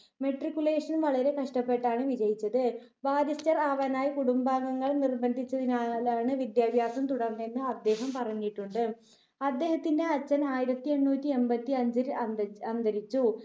Matriculation വളരെ കഷ്ടപ്പെട്ടാണ് വിജയിച്ചത്. ബാരിസ്റ്റർ ആവാനായി കുടുംബാംഗങ്ങൾ നിർബന്ധിച്ചതിനാലാണ് വിദ്യാഭ്യാസം തുടർന്നതെന്ന് അദ്ദേഹം പറഞ്ഞിട്ടുണ്ട്. അദ്ദേഹത്തിന്റെ അച്ഛൻ ആയിരത്തി എണ്ണൂറ്റി എൺപത്തി അഞ്ചിൽ അന്തരിച്ചു.